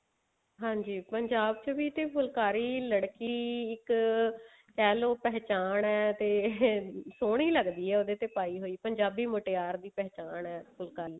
ਹਾਂਜੀ ਪੰਜਾਬ ਤੇ ਵੀ ਫੁਲਕਾਰੀ ਲੜਕੀ ਇੱਕ ਕਿਹ੍ਲੋ ਪਹਿਚਾਨ ਤੇ ਇਹ ਸੋਹਣੀ ਲੱਗਦੀ ਆ ਉਹਦੇ ਤੇ ਪਾਈ ਹੋਈ ਪੰਜਾਬੀ ਮੁਟਿਆਰ ਦੀ ਪਹਿਚਾਣ ਹੈ ਫੁਲਕਾਰੀ